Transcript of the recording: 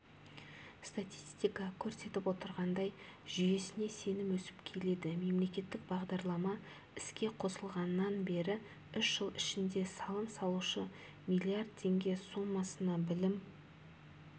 статистика көрсетіп отырғандай жүйесіне сенім өсіп келеді мемлекеттік бағдарлама іске қосылғаннан бері үш жыл ішінде салым салушы млрд теңге сомасына білім